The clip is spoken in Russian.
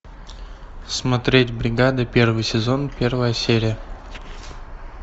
смотреть бригада первый сезон первая серия